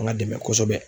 An ka dɛmɛ kosɛbɛ